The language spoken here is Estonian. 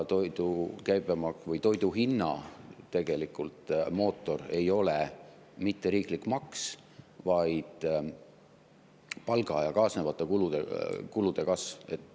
Tegelikult toidu mootor ei ole mitte riiklik maks, vaid palga ja kaasnevate kulude kasv.